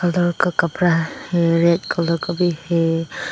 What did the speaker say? कपड़ा red colour का भी है।